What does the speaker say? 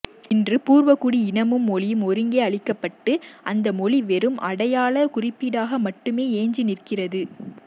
இன்று பூர்வகுடி இனமும் மொழியும் ஒருங்கே அழிக்கபட்டு அந்த மொழி வெறும் அடையாள குறியீடாக மட்டுமே எஞ்சி நிற்கிறது